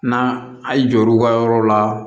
Na a' ye jɔr'u ka yɔrɔw la